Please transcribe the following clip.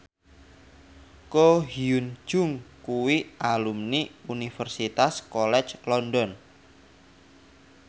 Ko Hyun Jung kuwi alumni Universitas College London